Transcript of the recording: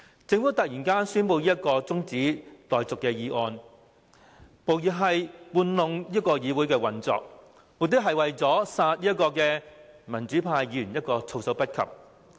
政府突然提出這項休會待續議案，無疑是操弄議會運作，目的是要殺民主派議員一個措手不及。